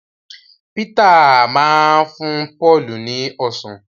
Peter má fún Paul ni ọsán